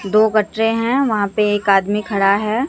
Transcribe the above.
दो गटरे है वहां पे एक आदमी खड़ा है।